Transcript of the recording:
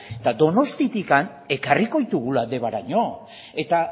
eta donostiatik ekarriko ditugula debaraino eta